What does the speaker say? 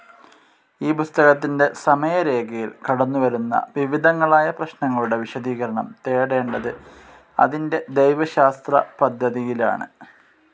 ഈ പുസ്തകത്തിൻ്റെ സമയരേഖയിൽ കടന്നുവരുന്ന വിവിധങ്ങളായ പ്രശ്നങ്ങളുടെ വിശദീകരണം തേടേണ്ടത് അതിൻ്റെ ദൈവശാസ്ത്രപദ്ധതിയിലാണ്.